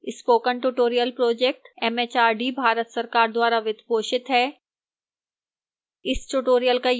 spoken tutorial project mhrd Bharat सरकार द्वारा वित्त पोषित है